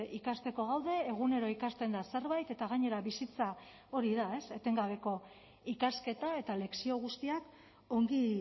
ikasteko gaude egunero ikasten da zerbait eta gainera bizitza hori da etengabeko ikasketa eta lezio guztiak ongi